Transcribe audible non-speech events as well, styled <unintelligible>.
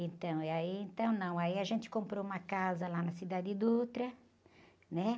Então, e aí, então, não, aí a gente comprou uma casa lá na, <unintelligible> né?